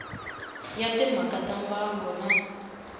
ya timhaka ta mbango na